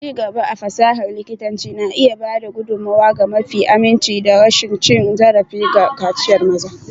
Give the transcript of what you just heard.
Ci gaba a fasahar likitanci na iya ba da gudummawa ga mafi aminci da rashin cin zarafi ga kaciyar maza.